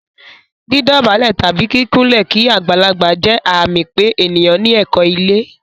Dídọ̀bálẹ̀ tàbí kíkúnlẹ̀ kí agbàlagbà jẹ́ àmì pé ènìyàn ní ẹ̀kọ́ ilé.